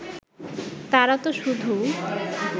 তারা তো শুধু